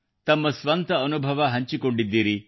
ತಾವು ಸ್ವಂತ ಅನುಭವ ಹಂಚಿಕೊಂಡಿದ್ದೀರಿ